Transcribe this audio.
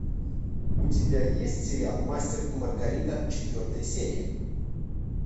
у тебя есть сериал мастер и маргарита четвертая серия